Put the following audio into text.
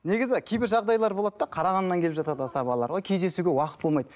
негізі кейбір жағдайлар болады да қарағандыдан келіп жатады асабалар кездесуге уақыт болмайды